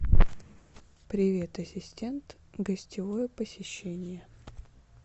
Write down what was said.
привет ассистент гостевое посещение